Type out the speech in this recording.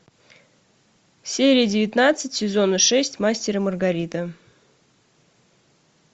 серия девятнадцать сезона шесть мастер и маргарита